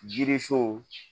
Jiri so